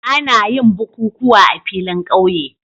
Ana yin bukukuwa a filin ƙauye